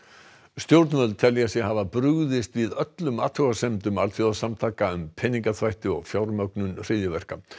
stjórnvöld telja sig hafa brugðist við öllum athugasemdum alþjóðasamtaka um peningaþvætti og fjármögnun hryðjuverka